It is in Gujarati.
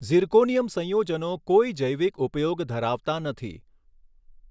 ઝિર્કોનિયમ સંયોજનો કોઈ જૈવિક ઉપયોગ ધરાવતાં નથી.